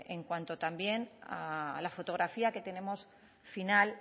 en cuanto también a la fotografía que tenemos final